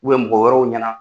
mɔgɔ wɛrɛw ɲɛna